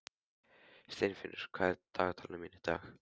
Steinfinnur, hvað er í dagatalinu mínu í dag?